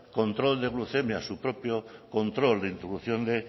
control de glucemia su propio control de introducción de